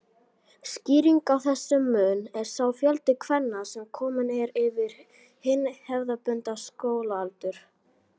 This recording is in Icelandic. Skýringin á þessum mun er sá fjöldi kvenna sem kominn er yfir hinn hefðbundna skólaaldur.